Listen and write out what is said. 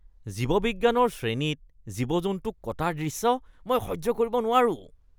জীৱবিজ্ঞানৰ শ্ৰেণীত জীৱ-জন্তুক কটাৰ দৃশ্য মই সহ্য কৰিব নোৱাৰো।